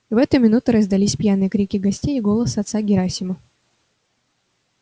в эту минуту раздались пьяные крики гостей и голос отца герасима